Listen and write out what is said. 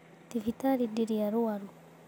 Thibitarĩ ndĩrĩ arũaru.